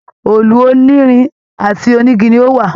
Òòlù onírin àti onigi ni ó wà.